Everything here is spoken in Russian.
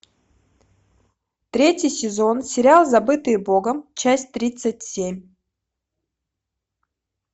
третий сезон сериал забытые богом часть тридцать семь